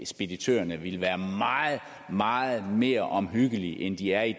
speditørerne ville være meget meget mere omhyggelige end de er i